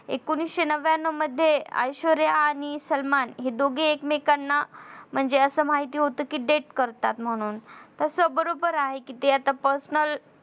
एकोणीशे नव्याणव मध्ये ऐश्वर्या आणि सलमान हे दोघे एकमेकांना म्हणजे असं माहिती होत कि date करतात म्हणून तस बरोबर आहे कि ते आता personal